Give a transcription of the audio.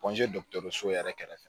dɔkitɔriso yɛrɛ kɛrɛfɛ